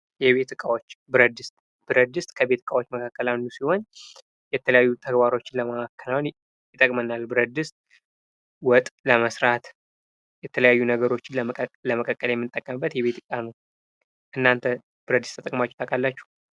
የቤት እቃዎች ብረት-ድስት:- ብረት-ድስት ከቤት ዕቃዎች ውስጥ አንድ ሲሆን የተለያዩ ተግባሮችን ለማከናወን ይጠቅመናል። ብረት ድስት ወጥ ለመስራት የተለያዩ ነገሮችን ለመቀቀል የምንጠቀምበት የቤት ዕቃ ነው። እናንተ ብረትድስት ተጠቅማችሁ ታውቃላችሁ?